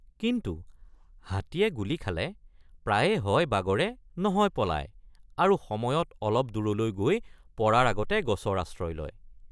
কিন্তু হাতীয়ে গুলী খালে, প্ৰায়ে হয় বাগৰে নহয় পলায় আৰু সময়ত অলপ দূৰলৈ গৈ পৰাৰ আগতে গছৰ আশ্ৰয় লয়।